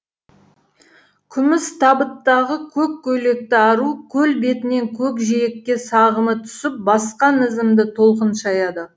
күміс табыттағы көк көйлекті ару көл бетінен көк жиекке сағымы түсіп басқан ізімді толқын шаяды